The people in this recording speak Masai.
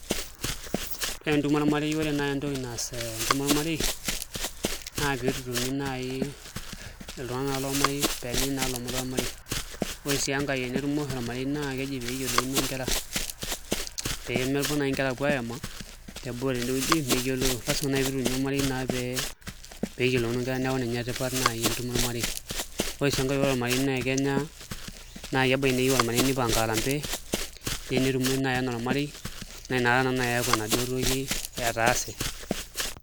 Ore entumo ormarei entoki naai naas entumo ormarei naa pee itutumi naai iltung'anak lormarei pee enyai naa ilomon lolmarei, ore sii enkae pee etumo oshi ormarei ekeji pee eyiolouno nkera pee mepuo naake nkera aapuo aema teboo tendewueji meyioloro lasima naai pee itutumi ormarei pee eyiolouno nkera neeku ninye naa tipat tentumo ormarei ore sii enkae ore ormarei naa kenya naai ebaiki naa keyieu ormarei nipanga arambee neyieu netumoi naai enaa ormarei naa inakata naa naai eeku enaduoo toki etaase.